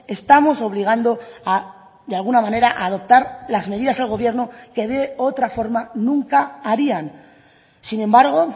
estamos obligando de alguna manera a adoptar las medidas al gobierno que de otra forma nunca harían sin embargo